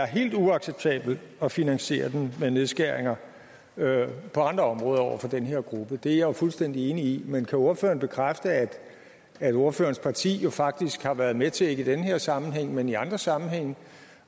helt uacceptabelt at finansiere den ved nedskæringer på andre områder over for den her gruppe det jo fuldstændig enig i men kan ordføreren bekræfte at at ordførerens parti jo faktisk har været med til ikke i den her sammenhæng men i andre sammenhænge